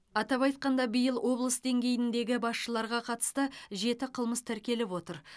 атап айтқанда биыл облыс деңгейіндегі басшыларға қатысты жеті қылмыс тіркеліп отыр